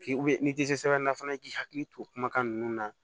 n'i tɛ se sɛbɛnna fana i k'i hakili to kumakan ninnu na